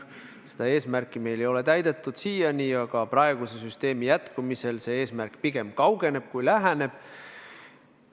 Seda eesmärki ei ole seni täidetud, aga praeguse süsteemi püsimise korral see eesmärk pigem kaugeneb kui läheneb.